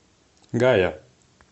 гая